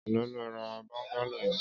Éló ló rà bọngàló yèn